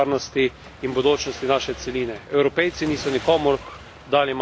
Evropejci niso nikomur dali mandata za popolno odprtje meje.